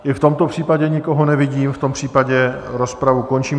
I v tomto případě nikoho nevidím, v tom případě rozpravu končím.